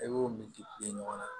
E b'o min di ɲɔgɔn ma